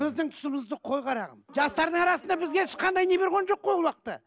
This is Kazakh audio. біздің тұсымызды қой қарағым жастардың арасында бізге ешқандай не берген жоқ қой ол уақытта